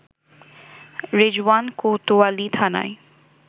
রেজওয়ান কোতোয়ালী থানায়